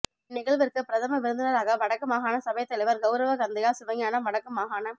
இந் நிகழ்விற்கு பிரதம விருந்தினராக வடக்கு மாகாண சபைத் தலைவர் கௌரவ கந்தையா சிவஞானம் வடக்கு மாகாண